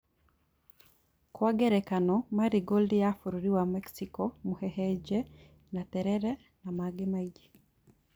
Kwa ngerekano marigold ya bũrũri wa mexico, mũhehenje, na terere na mangĩ maingĩ